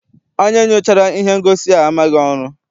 Onye nyochara ihe ngosi a maghị ọrụ.